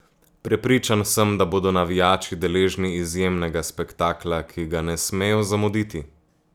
Prepričan sem, da bodo navijači deležni izjemnega spektakla, ki ga ne smejo zamuditi.